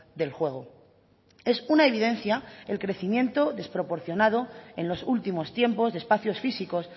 del juego es una evidencia el crecimiento desproporcionado en los últimos tiempos de espacios físicos